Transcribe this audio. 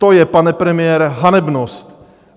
To je, pane premiére, hanebnost.